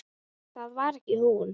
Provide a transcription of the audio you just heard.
Það var ekki hún.